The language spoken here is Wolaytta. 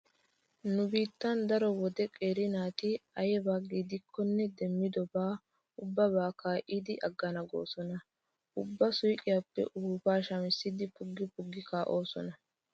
Nu biittan daro wode qeeri naati ayba gidikkonne demmido ubbaban kaa'idi aggana goosona. Ubba suuqiyappe ufuuppaa shamissidi puggi puggidi kaa'oosona.